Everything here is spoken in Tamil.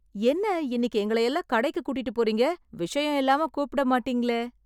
என்ன இன்னிக்கு எங்கள எல்லாம் கடைக்கு கூட்டிட்டுப் போறீங்க? விஷயம் இல்லாம கூப்பிட மாட்டேங்களே.